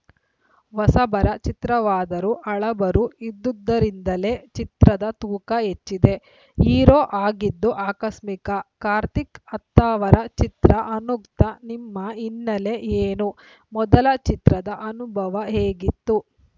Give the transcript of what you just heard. ಹೊಸಬರ ಚಿತ್ರವಾದರೂ ಹಳಬರು ಇದ್ದುದ್ದರಿಂದಲೇ ಚಿತ್ರದ ತೂಕ ಹೆಚ್ಚಿದೆ ಹೀರೋ ಆಗಿದ್ದು ಆಕಸ್ಮಿಕ ಕಾರ್ತಿಕ್‌ ಅತ್ತಾವರ ಚಿತ್ರ ಅನುಕ್ತ ನಿಮ್ಮ ಹಿನ್ನೆಲೆ ಏನು ಮೊದಲ ಚಿತ್ರದ ಅನುಭವ ಹೇಗಿತ್ತು